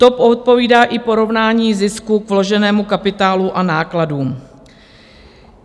To odpovídá i porovnání zisku k vloženému kapitálu a nákladům.